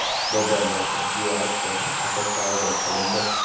Bobomurod Abdullayev tilxat asosida ozod qilindi.